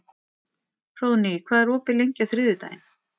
Hróðný, hvað er opið lengi á þriðjudaginn?